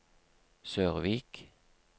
Sørvik